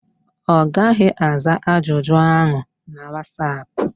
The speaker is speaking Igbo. Ọ gaghị aza ajụjụ áhụ̀ na Wasap.